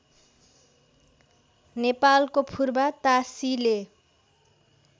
नेपालको फुर्बा तासिले